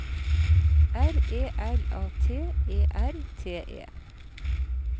R E L A T E R T E